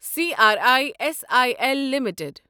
C R I S I L limited